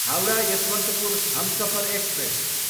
Howrah, Yesvantpur Humsafar express